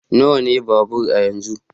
Nawa ne babur a yanzu?